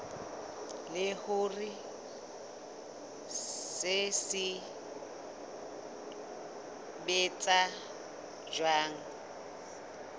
le hore se sebetsa jwang